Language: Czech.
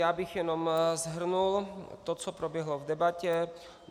Já bych jenom shrnul to, co proběhlo v debatě.